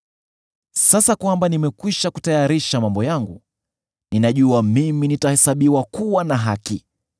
Sasa kwamba nimekwisha kutayarisha mambo yangu, ninajua mimi nitahesabiwa kuwa na haki.